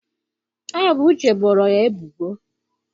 Ọ bụ Uche boro ya ebubo.